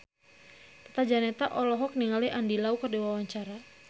Tata Janeta olohok ningali Andy Lau keur diwawancara